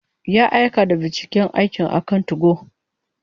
Ya aika da binciken aikin akan 2go.